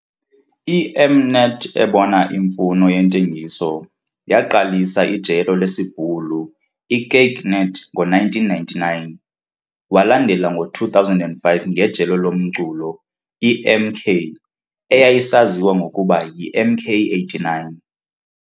I- M-Net ebona imfuno yentengiso, yaqalisa ijelo lesiBhulu i-KykNet ngo1999, walandela ngo2005 ngejelo lomculo i-MK, eyayisaziwa ngokuba yiMK89.